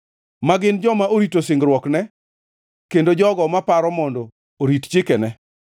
ma gin joma orito singruokne kendo jogo maparo mondo orit chikene.